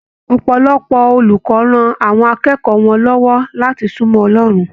Ọpọlọpọ olùkọ rán àwọn akẹ́kọ̀ọ́ wọn lọwọ láti sunmọ Ọlọrun.